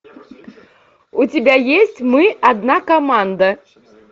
у тебя есть мы одна команда